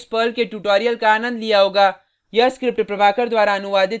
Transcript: आशा करते हैं कि आपने इस पर्ल के ट्यूटोरियल का आनंद लिया होगा